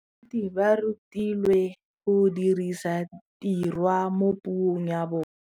Baithuti ba rutilwe go dirisa tirwa mo puong ya bone.